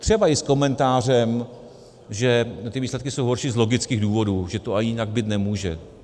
Třeba i s komentářem, že ty výsledky jsou horší z logických důvodů, že to ani jinak být nemůže.